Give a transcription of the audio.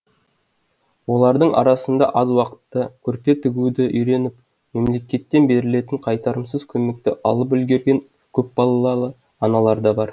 олардың арасында аз уақытта көрпе тігуді үйреніп мемлекеттен берілетін қайтарымсыз көмекті алып үлгерген көпбалалы аналар да бар